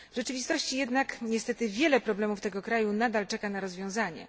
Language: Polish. W rzeczywistości jednak niestety wiele problemów tego kraju nadal czeka na rozwiązanie.